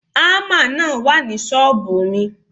Ámà náà wà ní ṣọ́ọ̀bù mi.